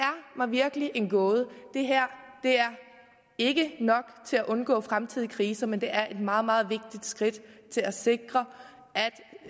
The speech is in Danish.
mig virkelig en gåde det her er ikke nok til at undgå fremtidige kriser men det er et meget meget vigtigt skridt til at sikre